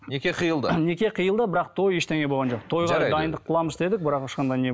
неке қиылды неке қиылды бірақ той ештеңе болған жоқ тойға дайындық қыламыз деді бірақ ешқандай